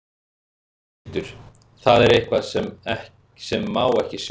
Berghildur: Það er eitthvað sem má ekki sjá?